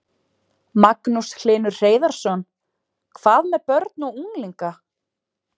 Magnús Hlynur Hreiðarsson: Hvað með börn og unglinga?